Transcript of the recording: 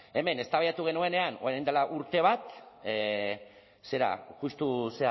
hemen eztabaidatu genuenean orain dela urte bat zera justu